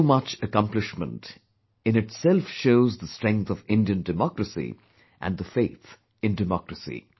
So much accomplishment, in itself shows the strength of Indian democracy and the faith in democracy